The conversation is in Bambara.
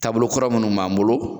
Taabolokɔrɔ munnu b'an bolo